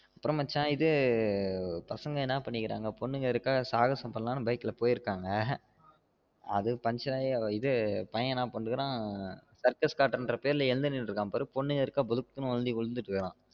அப்ரோ மச்சான் இது பசங்க என்ன பண்ணிகுறாங்க பொண்ணுக இருக்காங்க சாகசம் பண்ணலான்னு bike ல போயிருகங்க அது buncher ஆயி இது பையன் என்ன பன்னிட்டு இருக்கான் உம் circus காட்ரேன்னு பேரில்ல எந்த நிலைல இருக்கார்னு பாரு பொண்ணுங்க இருக்கா பொதுக்குனு விழுந்துட்ரான்